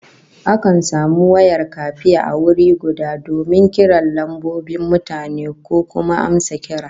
Akan samu wayar kafe a wuri guda donin kiran lambobin mutane ko kuma amsa kira